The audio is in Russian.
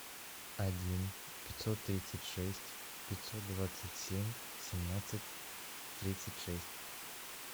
один пятьсот тридцать шесть пятьсот двадцать семь семнадцать тридцать шесть